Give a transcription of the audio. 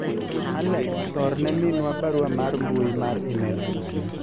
Alex orne minwa barua mar mbui mar email sani